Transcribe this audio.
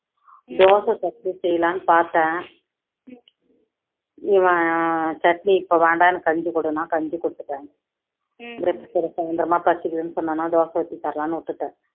dosa chutney செய்யலாம்னு பாத்தேன், இவன் சட்னி இப்போ வேண்டாம் எனக்கு கஞ்சி கொடுன்னா கஞ்சி கொடுத்துட்டேன் அப்பறமா பசிக்குதுன்னு சொன்னான்னா தோசை ஊத்தி தரலாம்னு விட்டுட்டேன்